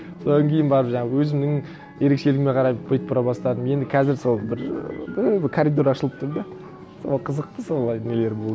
содан кейін барып жаңағы өзімнің ерекшелігіме қарап бүйтіп бұра бастадым енді қазір сол бір ыыы бір коридор ашылып тұр да сол қызықты солай нелер болды